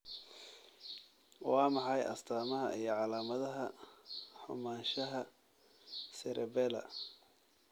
Waa maxay astamaha iyo calaamadaha xumaanshaha cerebellar?